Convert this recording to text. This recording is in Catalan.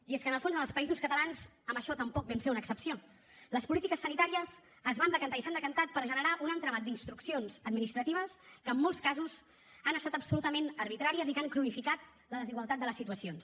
i és que en el fons en els països catalans en això tampoc vam ser una excepció les polítiques sanitàries es van decantar i s’han decantat per generar un entramat d’instruccions administratives que en molts casos han estat absolutament arbitràries i que han cronificat la desigualtat de les situacions